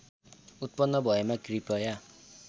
उत्पन्न भएमा कृपया